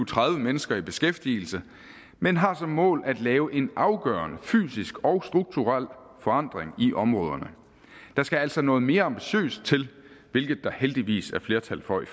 tredive mennesker i beskæftigelse men har som mål at lave en afgørende fysisk og strukturel forandring i områderne der skal altså noget mere ambitiøst til hvilket der heldigvis er flertal for i